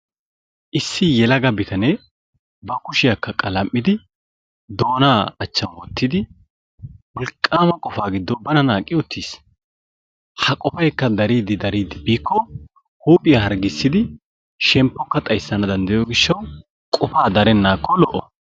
Issi yelaga bitanee babkushiyakka qalam'idi doonaa achchan wottidi wolqqaama qofaa giddo bana naaqqi uttis. Ha qofaykka dariiddi dariiddi biikko huuphiya harggissidi shemppekka xayssana danddayiyo gishshawu qofaa darennaakko lo'o.